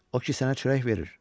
O ki sənə çörək verir.